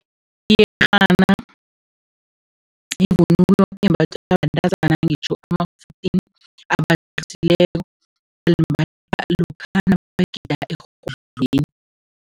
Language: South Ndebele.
Iyerhana yivunulo embathwa bentazana, ngitjho ama-fourteen balimbatha lokha nabagida erhodlweni.